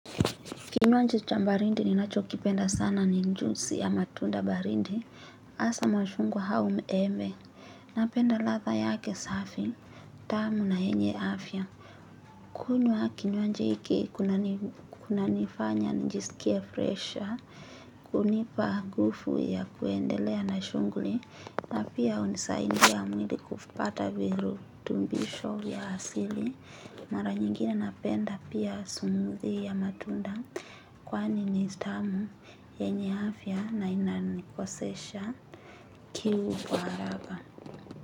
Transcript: Kinywaji cha barindi ninachokipenda sana ni njusi ya matunda baridi. Hasa machungwa hau embe. Napenda ladha yake safi. Tamu na yenye afya. Kunywa kinywaji hiki kunanifanya nijisikie fresha. Hunipa ngufu ya kuendelea na shunguli. Na pia hunisaidia mwili kupata virutumbisho ya asili. Mara nyingine napenda pia smuthi ya matunda. Kwani ni stamu, yenye afya na inanikosesha kiu kwa haraka.